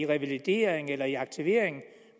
revalidering eller i aktivering